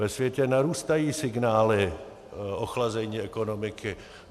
Ve světě narůstají signály ochlazení ekonomiky.